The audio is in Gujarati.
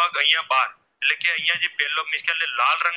બાદ એટલે કે જે અહીંયા જે પહેલો જે લાલ રંગનો